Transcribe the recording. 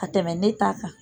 Ka tɛmɛ ne ta kan.